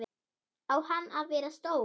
Á hann að vera stór?